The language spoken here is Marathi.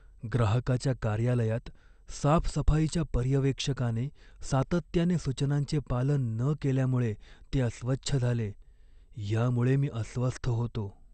ग्राहकाच्या कार्यालयात साफसफाईच्या पर्यवेक्षकाने सातत्याने सूचनांचे पालन न केल्यामुळे ते अस्वच्छ झाले, यामुळे मी अस्वस्थ होतो.